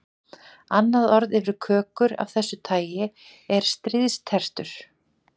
Annað orð yfir kökur af þessu tagi er stríðstertur.